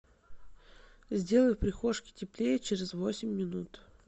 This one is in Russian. сделай в прихожке теплее через восемь минут